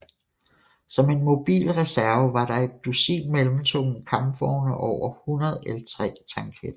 Som en mobil reserve var der et dusin mellemtunge kampvogne og over 100 L3 tanketter